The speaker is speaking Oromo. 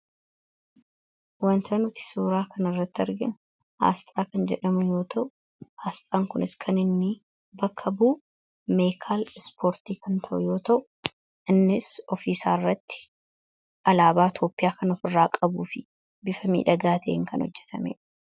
Wanti nuti suuraa kanarratti arginu Astra kan jedhamu yoo ta'u, Astraan kun konkolaataa ispoortii kan bakka bu'uudha. Innis ofirraa alaabaa Itoophiyaa kan qabuu fi bifa miidhagaa ta'een kan hojjetameedha.